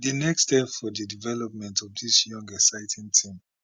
di next step for di development of dis young exciting team